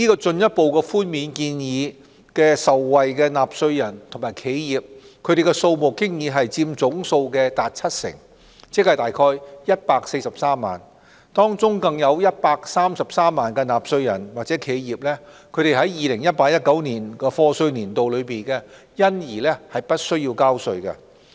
這項寬免建議的受惠納稅人和企業佔總數達七成，即約143萬。當中更有133萬納稅人或企業在 2018-2019 課稅年度因而不需交稅。